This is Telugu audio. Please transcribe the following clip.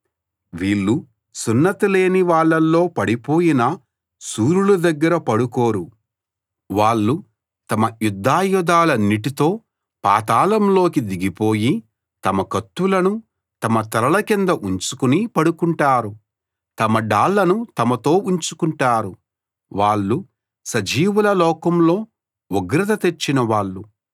వీళ్ళు సున్నతి లేని వాళ్ళలో పడిపోయిన శూరుల దగ్గర పడుకోరు వాళ్ళు తమ యుద్ధాయుధాలన్నిటితో పాతాళంలోకి దిగిపోయి తమ కత్తులను తమ తలల కింద ఉంచుకుని పడుకుంటారు తమ డాళ్ళను తమతో ఉంచుకుంటారు వాళ్ళు సజీవుల లోకంలో ఉగ్రత తెచ్చినవాళ్ళు